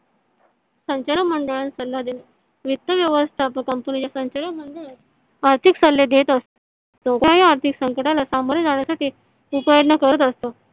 संचालक मंडळाला सल्ला दिला. वित्त व्यवस्थापक आर्थिक सल्ले देत असतो . आर्थिक संकटाला सामोरे जाण्यासाठी उपाय योजना करत असतो.